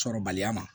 Sɔrɔbaliya ma